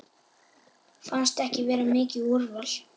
Fannst ekki vera mikið úrval.